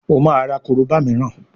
o ma rà koroba míràn